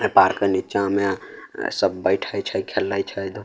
ए park के नीचा मे अ सब बैठे छै खेले छै धू --